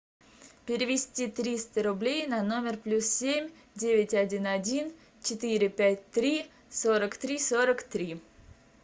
перевести триста рублей на номер плюс семь девять один один четыре пять три сорок три сорок три